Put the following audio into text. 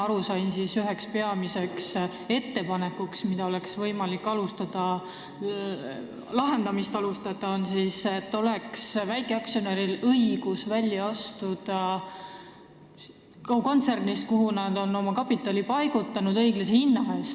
Nagu mina aru sain, üheks peamiseks ettepanekuks, kuidas oleks võimalik probleemi lahendama asuda, oli see, et väikeaktsionäril peaks olema õigus astuda välja kontsernist, kuhu ta on oma kapitali õiglase hinna eest paigutanud.